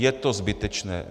Je to zbytečné.